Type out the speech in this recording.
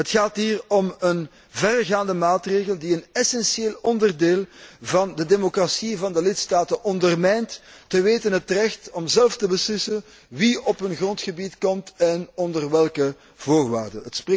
Het gaat hier om een verregaande maatregel die een essentieel onderdeel van de democratie van de lidstaten ondermijnt, te weten het recht om zelf te beslissen wie op hun grondgebied komt en onder welke voorwaarden.